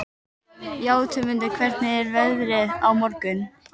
Játmundur, hvernig er veðrið á morgun?